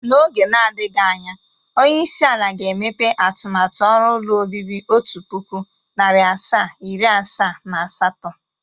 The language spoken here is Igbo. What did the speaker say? N'oge nadịghị anya, onyeisi ala ga-emepe atụmatụ ọrụ ụlọ obibi otu pụkụ, narị asaa, iri asaa na asatọ